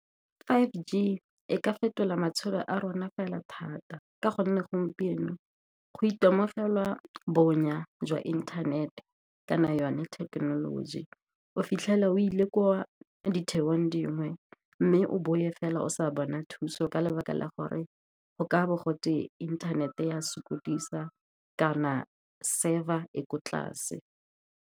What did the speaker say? Five G e ka fetola matshelo a rona fela thata, ka gonne gompieno go itemogela bonya jwa inthanete kana yone technology. O fitlhela o le ko ditheong dingwe, mme o bowe fela o sa bona thuso ka lebaka la gore go ka bo gotwe inthanete ya sokodisa kana server e ko tlase.